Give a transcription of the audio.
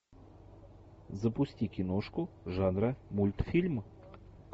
запусти киношку жанра мультфильм